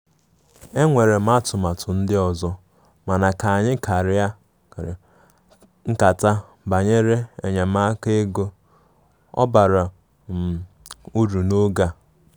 Enwere m atụmatụ ndị ọzọ, mana ka anyị karia nkata banyere enyemaka ego,ọ bara um uru n' oge a.